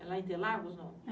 É lá em Interlagos, não?